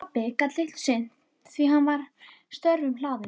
Pabbi gat litlu sinnt því að hann var störfum hlaðinn.